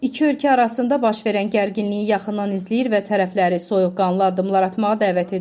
İki ölkə arasında baş verən gərginliyi yaxından izləyir və tərəfləri soyuqqanlı addımlar atmağa dəvət edirik.